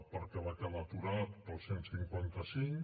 perquè va quedar aturat pel cent i cinquanta cinc